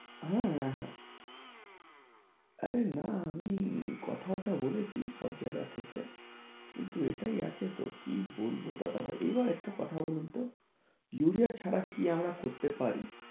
হ্যাঁ হ্যাঁ আরে না আমি কথাবার্তা বলেছি সব জায়গা থেকে কিন্তু এটাই আছে তো কি বলবো দাদাভাই এবার একটা কথা বলুন তো ইউরিয়া ছাড়া কি আমরা করতে পারি?